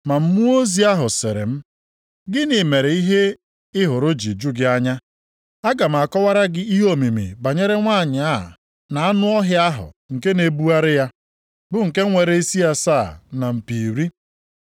Ma mmụọ ozi ahụ sịrị m, “Gịnị mere ihe ị hụrụ ji ju gị anya? Aga m akọwara gị ihe omimi banyere nwanyị a na anụ ọhịa ahụ nke na-ebugharị ya, bụ nke nwere isi asaa na mpi iri.